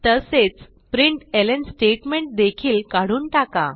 तसेच प्रिंटलं स्टेटमेंट देखील काढून टाका